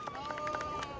Bravo!